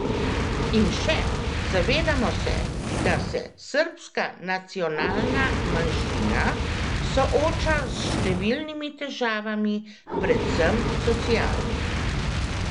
In še: 'Zavedamo se, da se srbska nacionalna manjšina sooča s številnimi težavami, predvsem socialnimi.